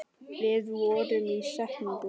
Við fórum í steik.